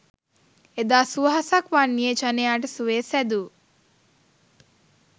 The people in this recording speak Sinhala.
එදා සුවහසක් වන්නියේ ජනයාට සුවය සැදු